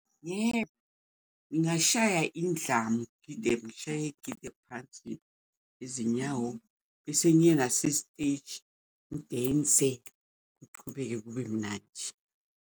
Yebo, ngingashaya indlamu ngide ngishaye ngide phansi izinyawo bese ngiye nase-stage ngidense kuchubeke kube mnandi.